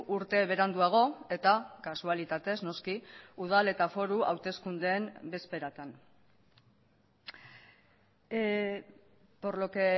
urte beranduago eta kasualitatez noski udal eta foru hauteskundeen bezperatan por lo que